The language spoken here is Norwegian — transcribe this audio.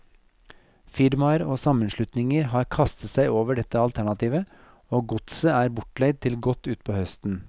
Firmaer og sammenslutninger har kastet seg over dette alternativet, og godset er bortleid til godt utpå høsten.